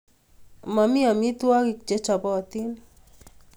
Mami amitwogik che chopot